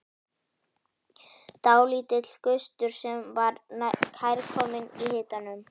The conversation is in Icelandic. Dálítill gustur sem var kærkominn í hitanum.